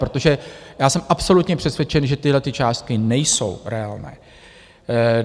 Protože já jsem absolutně přesvědčen, že tyto částky nejsou reálné.